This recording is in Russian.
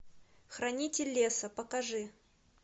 хранитель леса покажи